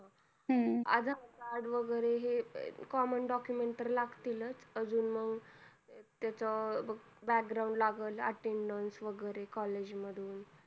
adharcard वैगेरे हे commondocument तर लागतील च अजून मग त्याच background लागलं attendance वैगेरे college मधून